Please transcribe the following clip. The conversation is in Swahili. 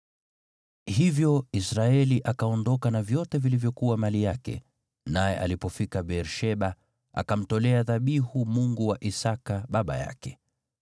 Hivyo Israeli akaondoka na vyote vilivyokuwa mali yake, naye alipofika Beer-Sheba, akamtolea dhabihu Mungu wa Isaki baba yake.